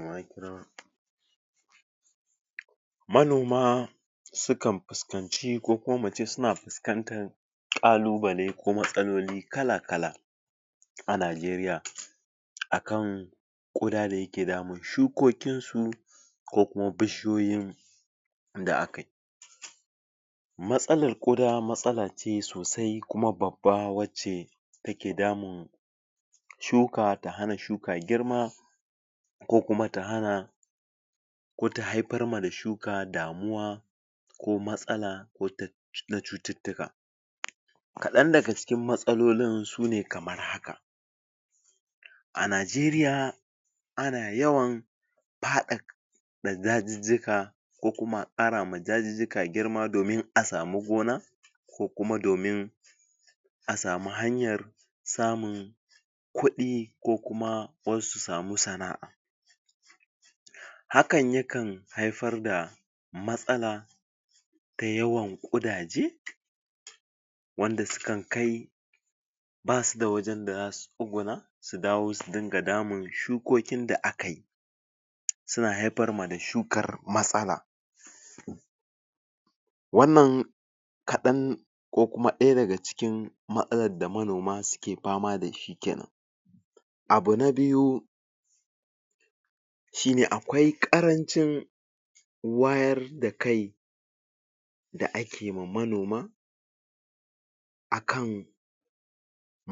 pause Manoma sukan fuskanci ko kuma muce suna fuskantan ƙalubale ko matsaloli kala-kala a najeriya a kan ƙuda da yake damun shukokinsu ko kuma bishiyoyin da akayi matsalar kuda matsala ce sosai kuma babban wacce take damun shuka, ta hana shuka girma ko kuma ta hana ko ta haifar ma da shuka damuwa ko matsala ko ta, na cututtuka kaɗan daga cikin matsalolin sune kamar haka a najeriya ana yawan faɗa ɗaka dajijjika ko kuma a ƙarawa dajijjika girma domin a sami gona ko kuma domir a samu hanyar samun kuɗi ko kuma wasu su sami sana'a hakan yakan haifar da matsala ta yawan ƙudaje wanda sukan kai basu da wajen da zasu tsuguna su dawo su dinga damun shukokin da akayi suna haifar ma da shukar matsala wannan kaɗan ko kuma ɗaya daga cikin matsalan da manoma suke fama dashi kenan abu na biyu shine akwai ƙarancin wayar da kai da ake ma manoma akan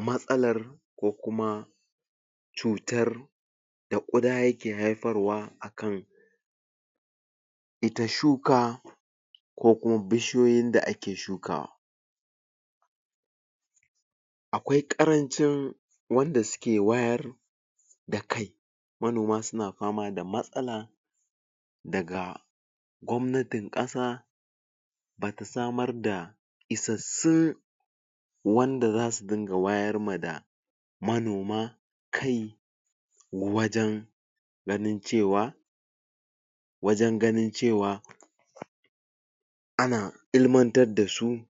matsalar ko kuma cutar da kuda yake haifarwa a kan ita shuka ko kuma bishiyoyin da ake shukawa akwai ƙarancin wanda suke wayar da kai manoma suna fama da matsala daga gwabnatin ƙasa bata samar da isassun wanda zasu ringa wayar ma da manoma kai wajen ganin cewa wajen ganin cewa ana ilmantar dasu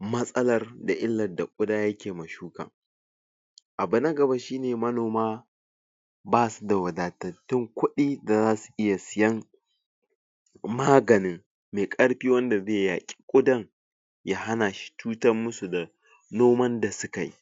matsalar da illar da ƙuda take ma shuka abu na gaba shine manoma basu da wadatattun kuɗi da zasu iya siyan maganin mai ƙarfi wanda zai yaƙi ƙudan ya hanashi cutar musu da noman da sukayi.